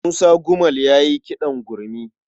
Musa Gumel ya yi kiɗan gurmi.